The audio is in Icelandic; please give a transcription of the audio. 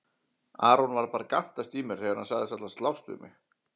Aron var bara að gantast í mér þegar hann sagðist ætla að slást við mig.